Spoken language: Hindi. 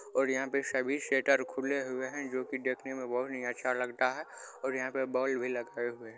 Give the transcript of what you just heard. और यहां पे सभी शेटर खुले हुए है जो की देखने मे बहुत ही अच्छा लगता है और यहां पे बल्ब भी लगे हुए है।